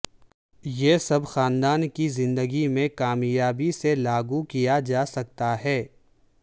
یہ سب خاندان کی زندگی میں کامیابی سے لاگو کیا جا سکتا ہے